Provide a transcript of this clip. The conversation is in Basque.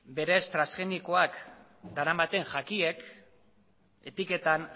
berez transgenikoak daramaten jakiek etiketan